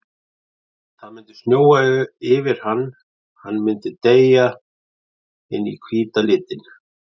Það myndi snjóa yfir hann, hann myndi deyja inn í hvíta litinn.